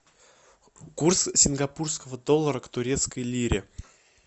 курс сингапурского доллара к турецкой лире